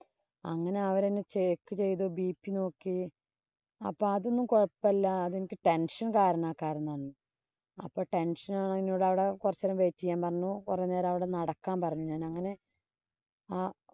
അങ്ങനെ അവരെന്നെ check ചെയ്തു bp നോക്കി. അപ്പൊ അതൊന്നും കൊഴപ്പ ഇല്ല. എനിക്ക് tension കാരണാ കാരണോന്ന്. അപ്പൊ tension കൊറച്ചു നേരം wait ചെയ്യാന്‍ പറഞ്ഞു. കൊറേ നേരം ഞാനവിടെ നടക്കാന്‍ പറഞ്ഞു. ഞാനങ്ങനെ ആഹ്